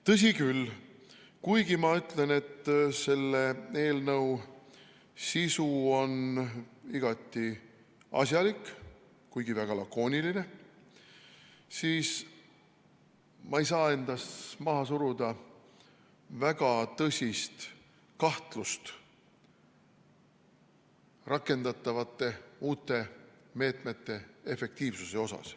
Tõsi küll, kuigi ma ütlen, et selle eelnõu sisu on igati asjalik, aga väga lakooniline, ei saa ma endas maha suruda väga tõsist kahtlust uute rakendatavate meetmete efektiivsuse suhtes.